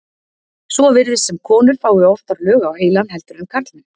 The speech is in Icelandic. Svo virðist sem konur fái oftar lög á heilann heldur en karlmenn.